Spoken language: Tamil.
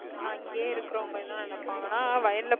ஆனா அங்கயே இருக்கவங்க என்ன நினைப்பாங்கன்னா வயல்ல